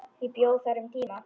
Ég bjó þar um tíma.